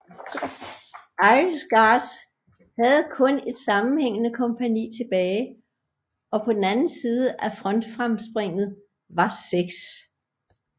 Irish Guards havde kun et sammenhængene kompagni tilbage og på den anden side af frontfremspringet var 6